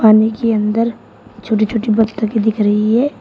पानी के अंदर छोटे छोटे बत्तखे दिख रही है।